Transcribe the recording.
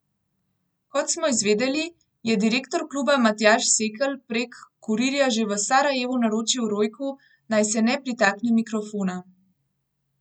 Kot smo izvedeli, je direktor kluba Matjaž Sekelj prek kurirja že v Sarajevu naročil Rojku, naj se ne pritakne mikrofona.